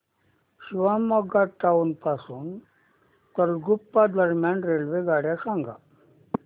Shivamogga town पासून तलगुप्पा दरम्यान रेल्वेगाड्या सांगा